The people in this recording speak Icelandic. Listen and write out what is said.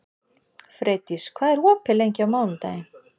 Freydís, hvað er opið lengi á mánudaginn?